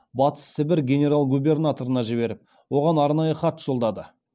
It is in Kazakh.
батыс сібір генерал губернаторына жіберіп оған арнайы хат жолдады